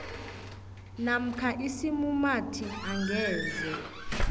namkha isimumathi angeze